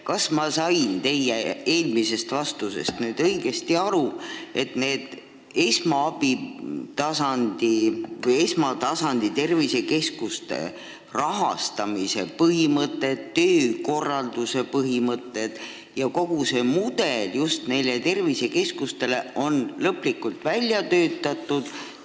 Kas ma sain teie eelmisest vastusest õigesti aru, et tervisekeskuste rahastamise põhimõtted, töökorralduse põhimõtted ja kogu see mudel on lõplikult välja töötatud?